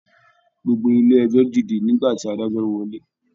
Gbogbo ilé ẹjọ dìde nígbà tí adájọ wọlé.